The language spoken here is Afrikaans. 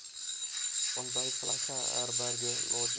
ontbytplekke herberge lodges